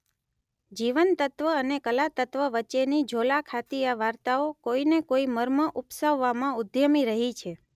જીવનતત્વ અને કલાતત્વ વચ્ચેની ઝોલા ખાતી આ વાર્તાઓ કોઈ ને કોઈ મર્મ ઉપસાવવામાં ઉદ્યમી રહી છે.